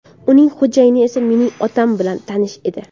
Uning xo‘jayini esa mening otam bilan tanish edi.